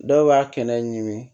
Dɔw b'a kɛnɛ ɲimi